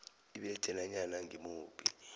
ibethe nanyana ngimuphi